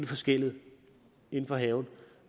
for skellet inden for haven